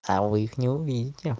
а вы их не увидите